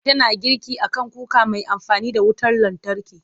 Tana girki a kan kuka mai amfani da wutar lantarki.